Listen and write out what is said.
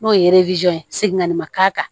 N'o ye ye segin ka na ma k'a kan